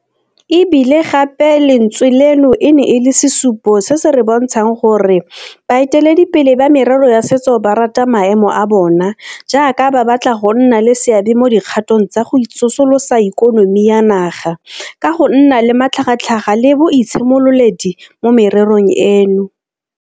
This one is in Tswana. E bile gape lentswe leno e ne e le sesupo se se re bontshang gore bae teledipele ba merero ya setso ba rata maemo a bona jaaka ba batla go nna le seabe mo dikgatong tsa go tsosolosa ikonomi ya naga ka go nna le matlhagatlhaga le boitshimololedi mo mererong eno.